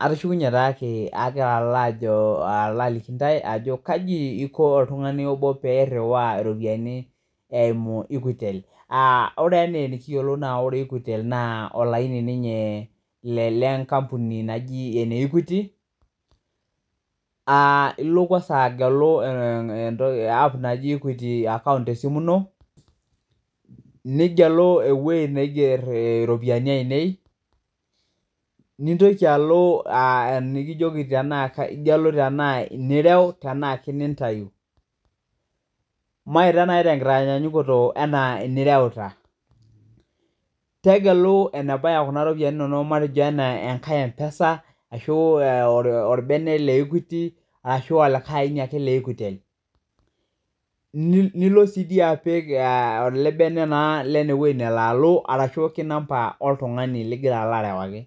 Atushukunye taake agira ajo alo aliki intae ajo kaji eiko ltungani obo peiruwaa iropiyiani eimu [cs[equitel, ore enaa enikiyolo, ore equitel naa olaini ninyee le nkampuni najii eneekuiti. Ilo kwansa agelu aap naji equiti akaunt tesimu ino, nigelu eweji neigerr iropiyiani ainei, nintoki alo enikijoki tanaa igelu tanaa inie irau tanaake nintayu. Mitaa naa te nkitanyanyukoto anaa inirauta, tegelu enebaya kuna iropiyiani inono metejo enaa enkae mpesa ashu olbene le equiti, ashu aalikae aini ake equitel, nilo sii dii apik ale bene naa lene weji nelo alo arashu ake nampa oltungani ligira alo arawaki.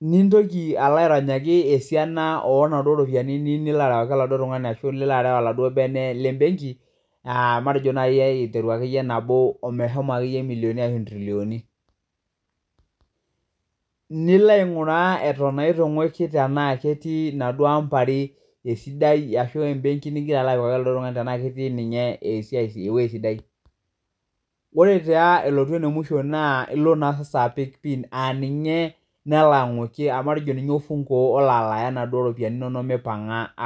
Nintoki alo aironyaki esiana oonaduo iropiyiani nilo arawaki eladuo tunganai ashu nilo arau eladuo bene le benki matejo nai aiteru ake iye nabo omeshomo ake iye milioni ashu ntrilioni. Nilo ainguraa eton naa eituinguaki tanaa ketii enaduo amba are esidai ashu embenki nigira alo apikaki eladuo tungani tanaa ketii ninye esiai eweji sidai. Ore taa ilotu ne musho naa ilo naa angas aapik piin aaninye nali aing'uaki, aamatejo ninye ofunguoolo alaaiya enaduo iropiyiani inono meipang'a aapo.